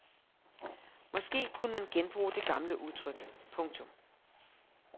Måske kunne man genbruge det gamle udtryk. punktum